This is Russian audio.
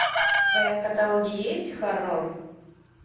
в твоем каталоге есть хоррор